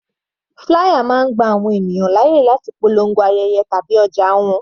Flier máa gba àwọn ènìyàn láyè láti polongo ayẹyẹ tàbí ọjà wọn.